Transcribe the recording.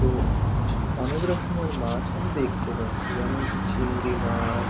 ও অনেক রকমের মাছ আমি দেখতে পাচ্ছি যেমন কি চিংড়ি মাছ।